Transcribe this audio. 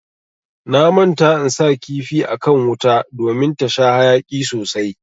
Na manta in sa kifi akan wuta ɗomin ta sha hayaki sosai.